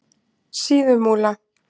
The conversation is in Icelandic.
Síðumúla